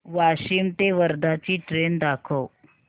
वाशिम ते वर्धा ची ट्रेन दाखव